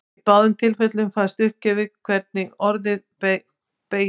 Í báðum tilfellum fæst uppgefið hvernig orðið beygist.